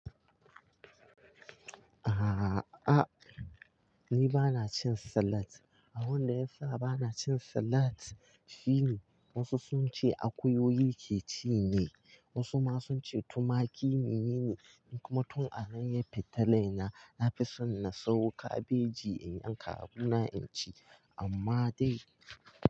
A'a, ni ba na cin salad. Abin da ya sa ba na cin salad shi ne wasu sun ce akuyoyi ke ci ne, wasu ma sun ce tumaki ne. Kuma tun a anan ya futa rai na, na fi son na sawo kabeji in yan ka abuna in ci, amma dai.